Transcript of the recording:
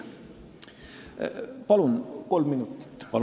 Palun kolm minutit lisaaega!